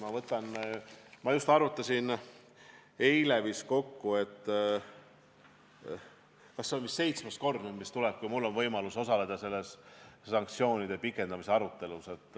Ma arvutasin eile kokku, et see on vist seitsmes kord, kui mul on võimalus osaleda sanktsioonide pikendamise arutelul.